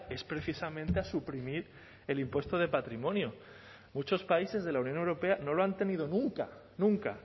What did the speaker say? es precisamente a suprimir el impuesto de patrimonio muchos países de la unión europea no lo han tenido nunca nunca